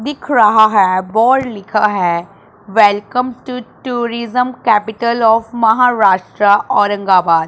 दिख रहा है बोर्ड लिखा है welcome to tourism capital of Maharashtra Aurangabad --